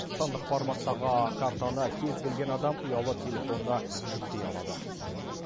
сандық форматтағы картаны кез келген адам ұялы телефонына жүктей алады